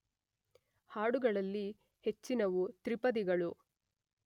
ಹಾಡುಗಳಲ್ಲಿ ಹೆಚ್ಚಿನವು ತ್ರಿಪದಿಗಳು.